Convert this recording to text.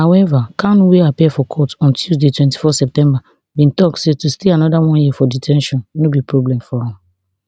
however kanu wey appear for court on tuesday twenty-four september bin tok say to stay anoda one year for de ten tion no be problem for am